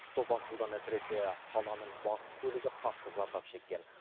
топан судан әсіресе қаланың батыс бөлігі қатты зардап шеккен